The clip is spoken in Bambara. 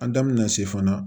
An da mɛna se fana